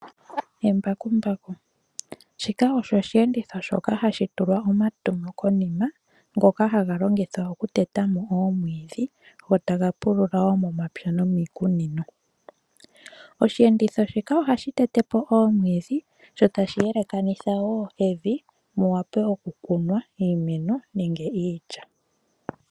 Embakumbaku, shika osho oshiyenditho shoka hashi tulwa omatemo konima ngoka haga longithwa okuteta mo oomwiidhi go taga pulula wo momapya nomiikunino. Oshiyenditho shika ohashi tete po oomwiidhi sho tashi yelekanitha wo evi mu wape oku kunwa iimeno nenge iilya.